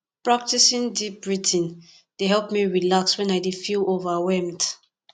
practicing deep breathing dey help me relax wen i dey feel overwhelmed